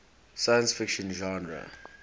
science fiction genre